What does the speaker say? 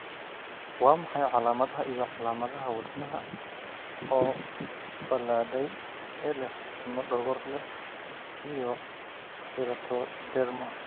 Waa maxay calamadaha iyo calamadaha wadnaha oo balaadhay ee leh timo dhogor leh iyo keratoderma?